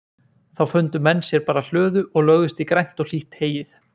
Þá fundu menn sér bara hlöðu og lögðust í grænt og hlýtt heyið.